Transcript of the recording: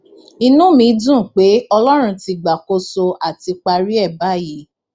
inú mi dùn pé ọlọrun ti gbàkóso á ti parí ẹ báyìí